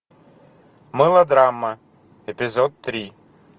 мылодрамма эпизод три